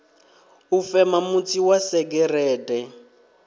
u fema mutsi wa segereṱe